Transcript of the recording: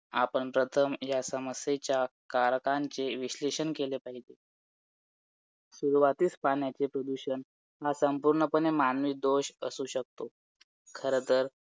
आणि शक्यतो मी तर विचार केलाच आहे की जास्तीत जास्त करून current affairs वरती हे करणार आहे तर आणि हे सध्या current affairs पण छान आहे आणि last time पण current affairs वरती पंचवीस प्रश्न आले होते twenty five